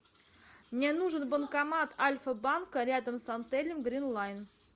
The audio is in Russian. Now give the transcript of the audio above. мне нужен банкомат альфа банка рядом с отелем грин лайн